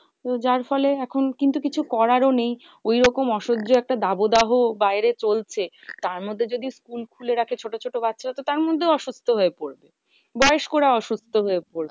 তো যার ফলে এখন কিন্তু কিছু করারও নেই ওই রকম অসহ্য একটা দাবদাহ বাইরে চলছে তার মধ্যে যদি স্কুল খুলে রাখে ছোট ছোট বাচ্চা তো তার মধ্যেও অসুস্থ হয়ে পরবে। বয়স্ক রা অসুস্থ হয়ে পড়বে।